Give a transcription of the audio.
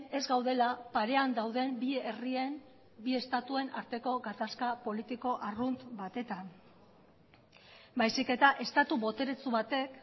ez gaudela parean dauden bi herrien bi estatuen arteko gatazka politiko arrunt batetan baizik eta estatu boteretsu batek